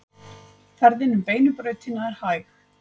Ferðin um Beinu brautina er hæg